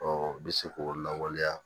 Ɔ i bɛ se k'o lawaleya